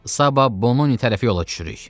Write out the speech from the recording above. Sabah Bononi tərəfi yola düşürük.